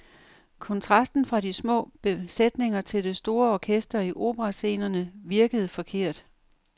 Kontrasten fra de små besætninger til det store orkester i operascenerne virkede forkert.